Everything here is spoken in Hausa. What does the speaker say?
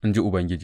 in ji Ubangiji.